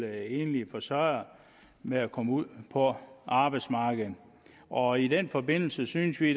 enlige forsørgere med at komme ud på arbejdsmarkedet og i den forbindelse synes vi